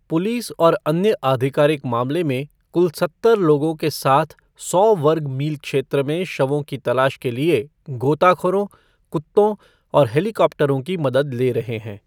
Police और अन्य आधिकारिक मामले में कुल सत्तर लोगों के साथ सौ वर्ग मील क्षेत्र में शवों की तलाश के लिए गोताखोरों, कुत्तों और हेलीकॉप्टरों की मदद ले रहे हैं।